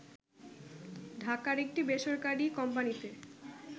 ঢাকার একটি বেসরকারী কোম্পানীতে